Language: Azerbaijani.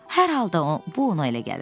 Hər halda bu ona elə gəlirdi.